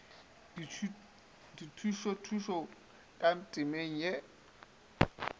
dithušothuto ka temeng ye e